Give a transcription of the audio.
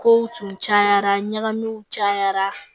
Kow tun cayara ɲagamiw cayara